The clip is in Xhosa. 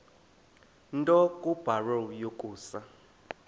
nto kubarrow yokusa